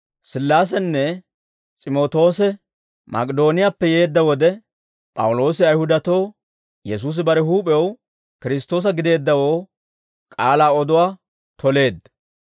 Sillaasenne S'imootoose Mak'idooniyaappe yeedda wode, P'awuloosi Ayihudatoo Yesuusi bare huup'ew Kiristtoosa gideeddawoo k'aalaa oduwaa toleedda.